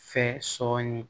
Fɛ sɔɔni